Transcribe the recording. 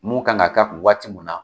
Mun kan ka ka kun waati mun na